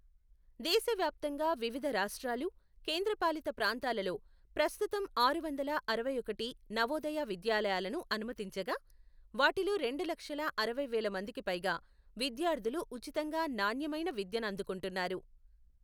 దేశవ్యాప్తంగా వివిధ రాష్ట్రాలు, కేంద్రపాలిత ప్రాంతాలలో ప్రస్తుతం ఆరు వందల అరవైఒకటి నవోదయ విద్యాలయాలను అనుమతించగా, వాటిలో రెండు లక్షల అరవై వేలమందికి పైగా విద్యార్థులు ఉచితంగా నాణ్యమైన విద్యనందుకుంటున్నారు.